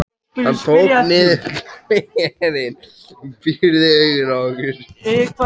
Hann tók niður glerin, pírði augun á okkur.